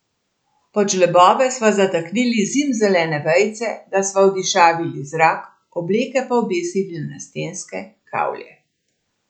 Pod žlebove sva zataknili zimzelene vejice, da sva odišavili zrak, obleke pa obesili na stenske kavlje.